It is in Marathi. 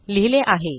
लिहिले आहे